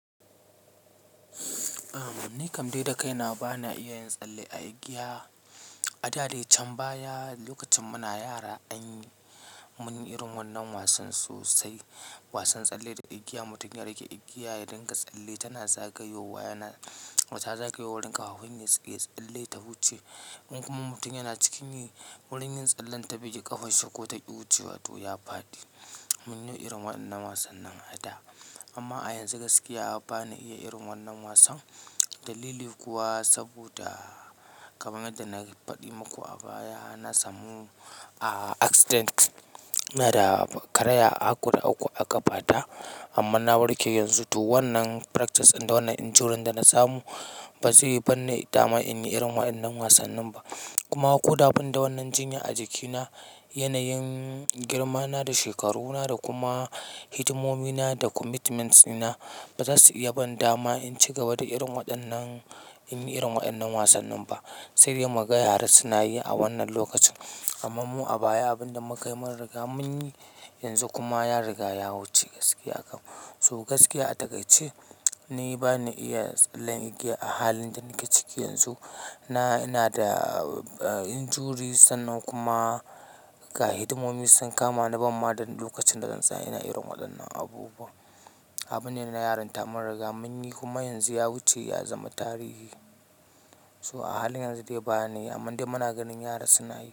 Ahm, ni kam dai da kaina ba na iya yin tsalle a igiya. A da dai can baya lokacin muna yara anyi mun irin wannan wasan sosai. Wasan tsalle da igiya mutum ya riƙe igiya ya dinga tsalle tana zagayowa yana ta zagayowan ƙawawun ya tsalle ta wuce. In kuma mutum yana cikin wurin yin tsallen ta biki ƙafanshi ko ta ki wuce wato ya faɗi. Mun yi irin wannan wasan nan a da amma a yanzu gaskiya ba na iya yin wannan wasan. Dalili kuwa saboda kamar yadda na faɗi maku a baya na samu, ah, accident ina da karaya a uku da uku a ƙafa ta amma na warke yanzu. To wannan practice din da wannan injury da na samu ba zayi bani dama in yi irin waɗannan wasan ba. Kuma ko da bani da wannan jinya a jikina, yanayin girmana da shekaruna da kuma hidimomi na da commitments ina ba za su iya ban dama in cigaba da yin irin waɗannan, yin irin waɗannan wasan ba. Sai dai maga yara su na yi a wannan lokacin. Amma mu a baya abin da muka yi mun riga mun yi, yanzu kuma ya riga ya wuce gaskiya a kam. So gaskiya a takaice ni ba na iya tsalle igiya a halin da nake ciki yanzu. Na, ina da injuries sannan kuma ga hidimomi sun kama ni ban ma da lokacin da zan tsaya ina yin waɗannan abu ba. Abun yana yaran ta mun riga mun yi kuma yanzu ya wuce ya zama tarihi. So a halin yanzu dai ba niyi aman dai muna ganin yara suna yi.